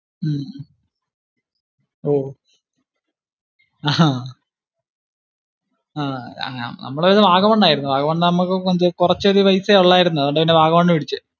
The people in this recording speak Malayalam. ഉം ഓ അഹ് നമ്മൾ അന്ന് വാഗമൺ ആരുന്നു. വാഗമൺ ആകുമ്പോ കുറച്ചൊരു പൈസയെ ഉണ്ടായിരുന്നുള്ളു അതുകൊണ്ടു പിന്നെ വാഗമൺ പിടിച്ചു